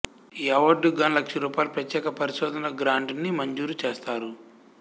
ఈ అవార్డుకి గాను లక్షరూపాయల ప్రత్యేక పరిశోధన గ్రాంటుని మంజూరు చేస్తారు